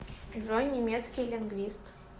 джой немецкий лингвист